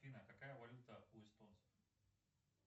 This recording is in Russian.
афина какая валюта у эстонцев